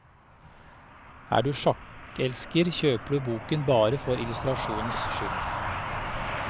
Og er du sjakkelsker kjøper du boken bare for illustrasjonenes skyld.